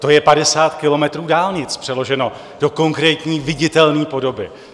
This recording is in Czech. To je 50 kilometrů dálnic, přeloženo do konkrétní, viditelné podoby.